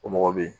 O mɔgɔ bɛ ye